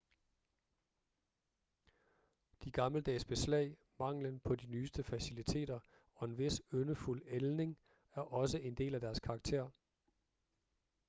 de gammeldags beslag manglen på de nyeste faciliteter og en vis yndefuld ældning er også en del af deres karakter